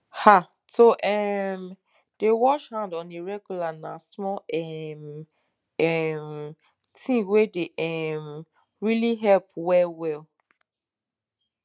ha to um dey wash hand on a regular na small um um thing wey dey um really help well well